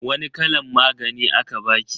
Wani kalan magani aka baki?